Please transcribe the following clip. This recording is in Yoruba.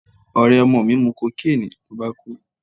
Ọ̀rẹ́ ọmọ mi mu cocaine ló bá kú.